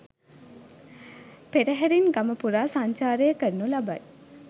පෙරහැරින් ගම පුරා සංචාරය කරනු ලබයි